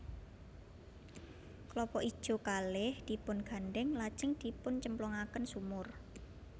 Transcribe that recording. Klapa ijo kalih dipungandhèng lajeng dipuncemplungaken sumur